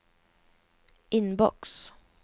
inbox